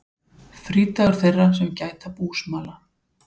Frídagur þeirra sem gæta búsmala.